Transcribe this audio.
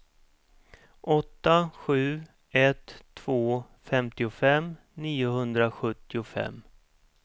åtta sju ett två femtiofem niohundrasjuttiofem